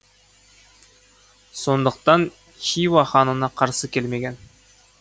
сондықтан хиуа ханына қарсы келмеген